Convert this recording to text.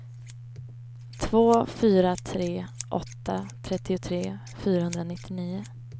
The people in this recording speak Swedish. två fyra tre åtta trettiotre fyrahundranittionio